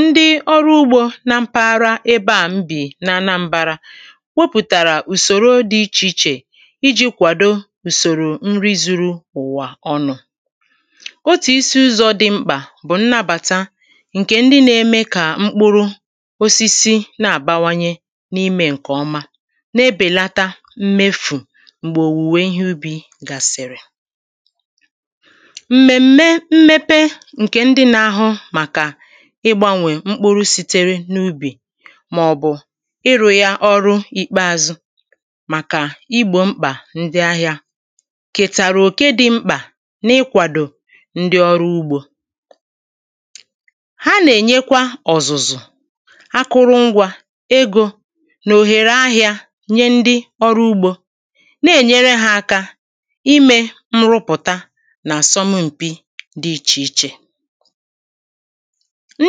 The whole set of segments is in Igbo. ndị ọrụ ugbō na mpaghara ébé à m bì n’Anambara wopùtàrà ùsòro dị̄ ichè ichè ijī kwàdo ùsòrò nri zūrū ụ̀wà ọnụ̄ otù isi ụzọ̄ dị mkpà bụ̀ nnabàta ǹkè ndị nā-ēmē kà mkpụrụ osisi na-àbawaye n’imē ǹkè ọma na-ebèlata mmefù m̀gbè ùwe ihe ubī gàsị̀rị̀ m̀mèm̀mè mmepe ǹkè ndị nā-āhụ̄ màkà ịgbāwè mkpụrụ sītērē n’ūbì màọ̀bụ̀ ịrụ̄ yā ọ̄rụ̄ ìkpeāzụ̄ màkà igbò mkpà ndị ahịā kètàrụ̀ òke dị̄ m̄kpà na-ịkwàdò ndị ọrụ ugbō ha nà-ènyekwa ọ̀zụ̀zụ̀ akụrụngwā, egō nà òghèrè ahịā ye ndị ọrụ ugbō na-ènyere hā ākā imē n̄rụ̄pụ̀ta nà àsọmum̀pi dị̄ ichè ichè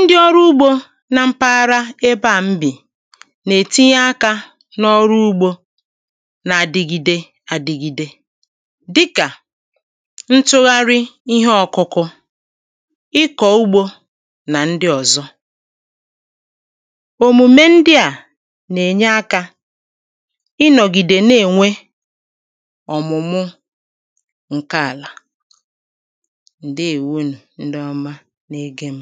ndị ọrụ ugbō na mpaghara ebe à m bi nà-ètinye akā n’ọrụ ugbō na-adịgide ādị̄gīdē dịkà ntụgharị ihe ọ̄kụ̄kụ̄ ịkọ̀ ugbō nà ndị ọ̀zọ òmùme ndị à nà-ènye akā ịnọ̀gìdè na-ènwe ọ̀mụ̀mụ ǹke àlà ǹdeèwo ndị ọma na-egē m̀